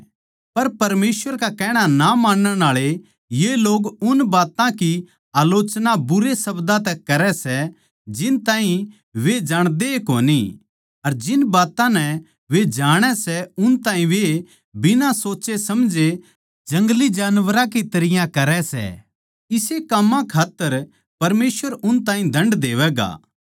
पर परमेसवर का कहणा ना मानण आळे ये लोग उन बात्तां की आलोचना बुरे शब्दां तै करै सै जिन ताहीं वे ए जाणदे कोनी अर जिन बात्तां नै वे जाणै सै उन ताहीं वे बिना सोच्चे समझे जंगली जानवरां की तरियां करै सै इसे काम्मां खात्तर परमेसवर उन ताहीं दण्ड देवैगा